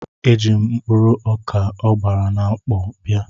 Eji m mkpụrụ ọkà a gbara na mkpọ bịa.